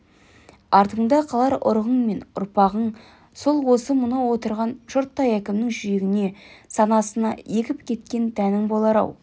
артыңда қалар ұрығың мен ұрпағың сол осы мынау отырған жұрттай әркімнің жүрегіне санасына егіп кеткен дәнің болар-ау